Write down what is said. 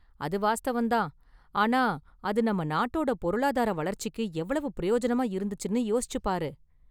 அது வாஸ்தவம் தான், ஆனா அது நம்ம நாட்டோட பொருளாதார வளர்ச்சிக்கு எவ்வளவு பிரயோஜனமா இருந்துச்சுன்னு யோசிச்சு பாரு!